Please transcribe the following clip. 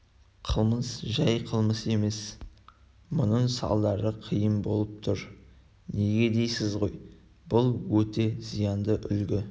қылмыс жай қылмыс емес мұның салдары қиын болып тұр неге дейсіз ғой бұл өте зиянды үлгі